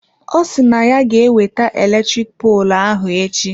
Ọ si na ya ga ewete eletrik poolụ ahụ echi.